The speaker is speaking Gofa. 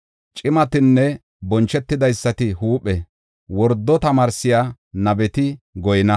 Cimatinne bonchetidaysati huuphe; wordo tamaarsiya nabeti goyna.